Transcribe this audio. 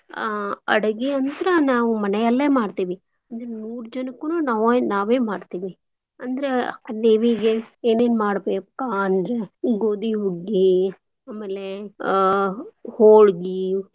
ಹಾ ಅಡಗೀಯಂತ್ರ ನಾವು ಮನೆಯಲ್ಲೆ ಮಾಡ್ತೇವಿ. ಅಂದ್ರೆ ನೂರ್ ಜನಕ್ಕುನೂ ನಾವ ನಾವೇ ಮಾಡ್ತೀವಿ. ಅಂದ್ರ ದೇವೀಗೆ ಏನೇನ್ ಮಾಡ್ಬೇಕ್ಪಾ ಅಂದ್ರ ಗೋದೀ ಹುಗ್ಗೀ, ಆಮೇಲೆ ಆಹ್ ಹೋಳ್ಗೀ.